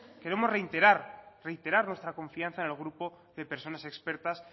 queremos reiterar nuestra confianza en el grupo de personas expertas